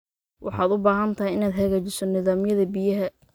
Waxaad u baahan tahay inaad hagaajiso nidaamyada biyaha.